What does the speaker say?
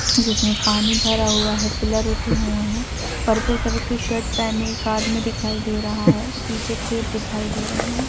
जिसमें पानी भरा हुआ है पिलर उठे हुए हैं पर्पल कलर की शर्ट पेहने एक आदमी दिखाई दे रहा है पीछे खेत दिखाई दे रहे हैं ।